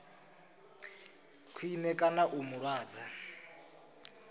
khwine kana u mu lwadza